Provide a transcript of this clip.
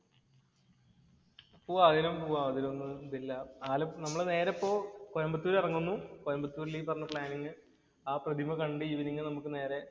പോവാം പോവാം. അതിലൊന്നും ഇതില്ല. ആല നമ്മള് നേരെ പോയി കോയമ്പത്തൂര്‍ ഇറങ്ങുന്നു. കോയമ്പത്തൂരില്‍ ഈ പറഞ്ഞ പ്ലാനിംഗ് ആ പ്രതിമ കണ്ടു ഈവനിംഗ് നമുക്ക് നേരെ